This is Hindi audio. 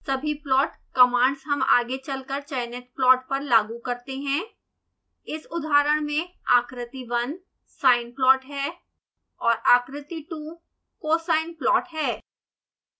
सभी प्लॉट कमांड्स हम आगे चल कर चयनित प्लॉट पर लागू करते हैं